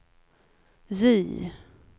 J